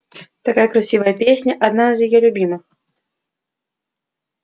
такая красивая песня одна из её любимых